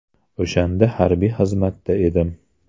O‘shanda harbiy xizmatda edim.